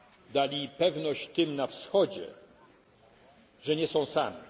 Dali pewność tym na Wschodzie, że nie są sami.